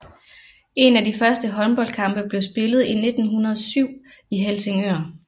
En af de første håndboldkampe blev spillet i 1907 i Helsingør